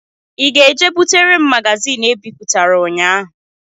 I ga-eje butere m magazin e bipụtara ụnyahụ?